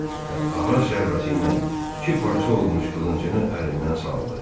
Və ağır zərbəsi ilə iki parça olmuş qılıncını əlindən saldı.